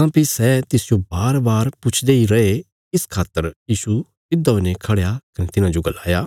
काँह्भई सै तिसजो बारबार पुछदे इ रैये इस खातर यीशु सिधा हुईने खढ़या कने तिन्हांजो गलाया